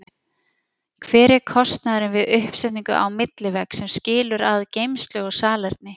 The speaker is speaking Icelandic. Hver er kostnaðurinn við uppsetningu á millivegg sem skilur að geymslu og salerni?